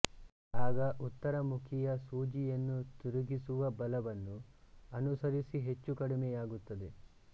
ಆಗ ಉತ್ತರ ಮುಖಿಯ ಸೂಜಿಯನ್ನು ತಿರುಗಿಸುವ ಬಲ ವನ್ನು ಅನುಸರಿಸಿ ಹೆಚ್ಚು ಕಡಿಮೆಯಾಗುತ್ತದೆ